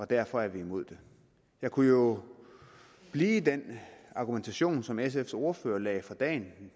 derfor imod det jeg kunne jo blive i den argumentation som sfs ordfører lagde for dagen